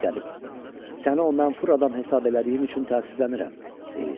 Ey qərib, səni o mənfur adam hesab elədiyim üçün təəssüflənirəm, deyir.